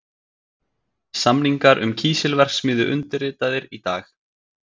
Samningar um kísilverksmiðju undirritaðir í dag